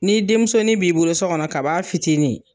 Ni denmusoni b'i bolo so kɔnɔ ka b'a fitinin